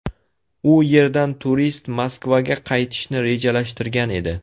U yerdan turist Moskvaga qaytishni rejalashtirgan edi.